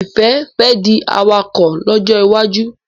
Ifẹ fè di awakọ̀ lójó iwájú.